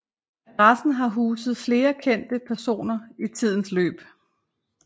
Adressen har huset flere kendte personer i tidens løb